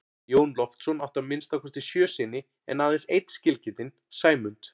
Jón Loftsson átti að minnsta kosti sjö syni en aðeins einn skilgetinn, Sæmund.